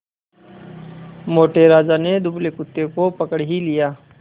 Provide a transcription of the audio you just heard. मोटे राजा ने दुबले कुत्ते को पकड़ ही लिया